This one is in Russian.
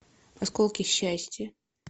осколки счастья